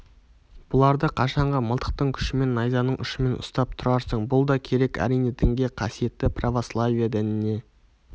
бұларды қашанғы мылтықтың күшімен найзаның ұшымен ұстап тұрарсың бұл да керек әрине дінге қасиетті православие дініне